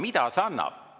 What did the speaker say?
Mida see annab?